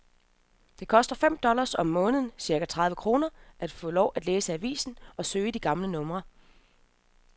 Det koster fem dollars om måneden, cirka tredive kroner, at få lov at læse i avisen og søge i de gamle numre.